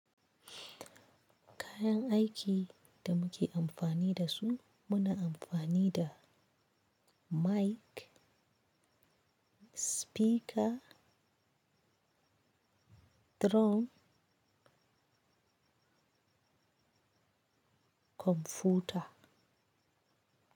Kayan aiki da muke amfani da su muna amfani da mic, speaker, drone, kwamfuta.